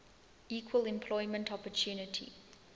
equal employment opportunity